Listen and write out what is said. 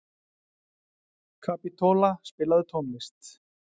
Kapitola, spilaðu tónlist.